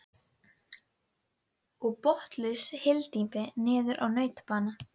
Ég sagði henni frá því að Bóas væri líklega brennu